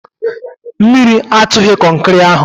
Mmiri atụghị kọnkịrị ahụ